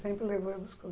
Sempre levou e buscou.